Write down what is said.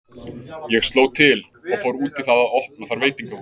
Ég sló til og fór út í það að opna þar veitingahús.